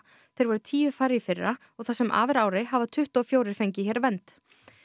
þeir voru tíu færri í fyrra og það sem af er ári hafa tuttugu og fjórir fengið hér vernd